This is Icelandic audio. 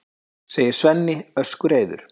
segir Svenni öskureiður.